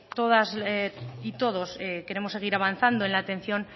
todas y todos queremos seguir avanzando en la atención